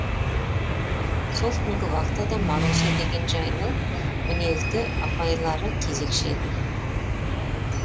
сол күнгі вахтада маруся деген жайлы мінезді апайлары кезекші еді